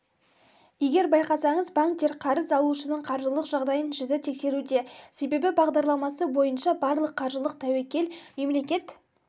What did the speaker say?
егер байқасаңыз банктер қарыз алушының қаржылық жағдайын жіті тексеруде себебі бағдарламасы бойынша барлық қаржылық тәуекел мемлекет